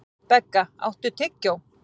Begga, áttu tyggjó?